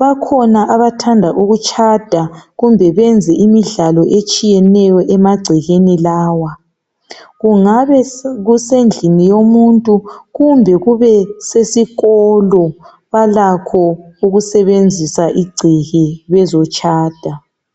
bakhona abathanda ukutshada kumbe benze imidlalo etshiyeneyo emagcekeni lawa kungabe kusendlini yomuntu kumbe kube sesikolo balakho ukusebenzisa ingceke bezotshada